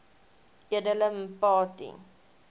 edele mpati